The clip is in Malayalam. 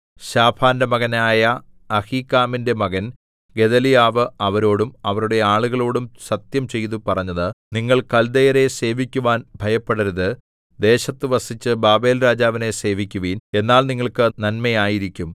ശാഫാന്റെ മകനായ അഹീക്കാമിന്റെ മകൻ ഗെദല്യാവ് അവരോടും അവരുടെ ആളുകളോടും സത്യംചെയ്തു പറഞ്ഞത് നിങ്ങൾ കല്ദയരെ സേവിക്കുവാൻ ഭയപ്പെടരുത് ദേശത്തു വസിച്ച് ബാബേൽരാജാവിനെ സേവിക്കുവിൻ എന്നാൽ നിങ്ങൾക്ക് നന്മയായിരിക്കും